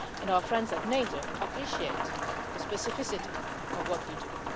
Our friends at NATO appreciate the specificity of what we do.